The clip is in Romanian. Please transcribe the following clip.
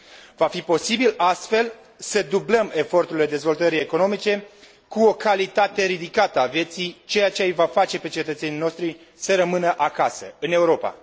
Va fi posibil, astfel, să dublăm eforturile dezvoltării economice cu o calitate ridicată a vieții, ceea ce îi va face pe cetățenii noștri să rămână acasă, în Europa.